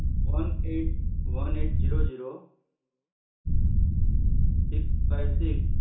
કીધા સર તમે one eight one eight zero zero okay six five six